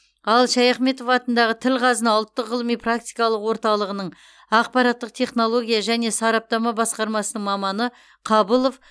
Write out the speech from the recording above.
ал шаяхметов атындағы тіл қазына ұлттық ғылыми практикалық орталығының ақпараттық технология және сараптама басқармасының маманы қабылов